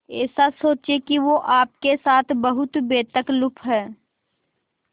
ऐसा सोचें कि वो आपके साथ बहुत बेतकल्लुफ़ है